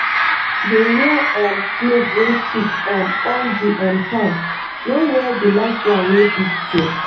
dey wear um glove wey thick um all the um time—no wear the light one wey fit tear.